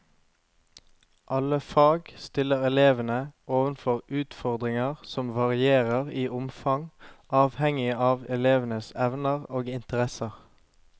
Alle fag stiller elevene overfor utfordringer som varierer i omfang avhengig av elevenes evner og interesser.